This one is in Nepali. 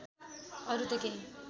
अरु त केही